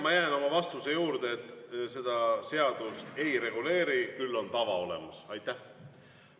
Ma jään oma vastuse juurde, et seda seadus ei reguleeri, küll on olemas tava.